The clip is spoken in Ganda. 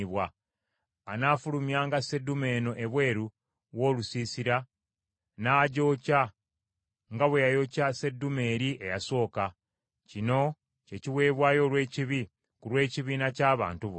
Anaafulumyanga sseddume eno ebweru w’olusiisira n’agyokya nga bwe yayokya sseddume eri eyasooka. Kino kye kiweebwayo olw’ekibi ku lw’ekibiina ky’abantu bonna.